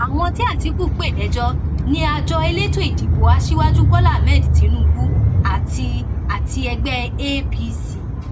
àwọn tí àtìkù pè lẹjọ ni àjọ elétò ìdìbò aṣíwájú bọlá tínúbù àti àti ẹgbẹ apc